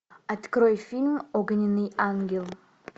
открой фильм огненный ангел